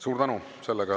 Suur tänu!